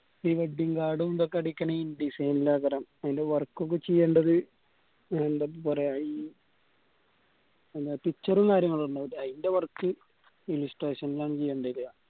wedding card ഇതൊക്കെഅടിക്കണേൽ indesign അതിലു work ഒക്കെ ചെയ്യേണ്ടത് എന്താ പറയാ ഈ ഏർ picture ഉം കാര്യങ്ങളും ഉണ്ടാവൂല്ലേ ആയിന്റ wworkillustration ലാണ് ചെയ്യണ്ട വരിക